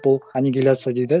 бұл аннигиляция дейді